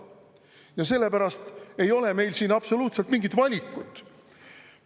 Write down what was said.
Ja sellepärast ei ole meil siin absoluutselt mingit valikut.